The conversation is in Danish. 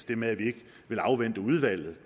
det med at vi ikke vil afvente udvalgets